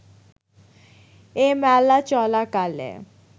এ মেলা চলাকালে